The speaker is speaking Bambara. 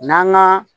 N'an ga